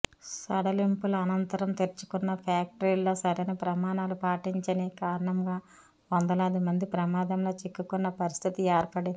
సడలింపుల అనంతరం తెరుచుకున్న ఫ్యాక్టరీలో సరైన ప్రమాణాలు పాటించని కారణంగా వందలాది మంది ప్రమాదంలో చిక్కుకున్న పరిస్థితి ఏర్పడింది